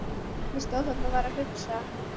Ég stóð þarna og var að hugsa.